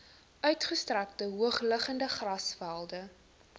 uitgestrekte hoogliggende grasvelde